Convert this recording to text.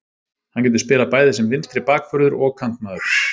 Hann getur spilað bæði sem vinstri bakvörður og kantmaður.